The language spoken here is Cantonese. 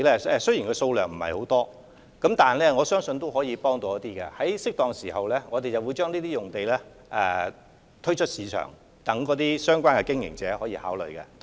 這些用地的數量雖然不多，但相信也有一定幫助，我們會適時將這些用地推出市場，供相關經營者考慮。